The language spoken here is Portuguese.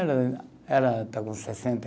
Ela, ela está com sessenta e